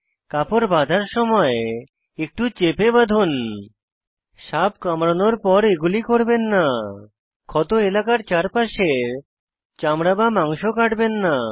কাপড় বাঁধার সময় কিছু চেপে লাগান সাপ কামড়ানোর পর এগুলি করবেন না ক্ষত এলাকার চারপাশের চামড়া বা মাংস কাটবেন না